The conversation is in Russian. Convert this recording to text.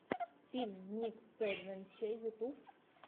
фильм никсэдвэнче ютюб